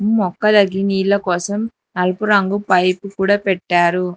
మొక్కలకి నీళ్ల కోసం నలుపు రంగు పైపు కూడా పెట్టారు.